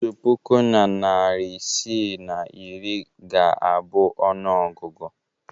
Otu puku na narị isii na iri ga-abụ ọnụọgụgụ.